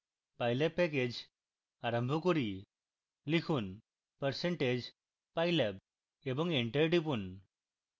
pylab package আরম্ভ করি